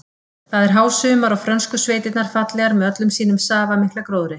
Það er hásumar og frönsku sveitirnar fallegar með öllum sínum safamikla gróðri.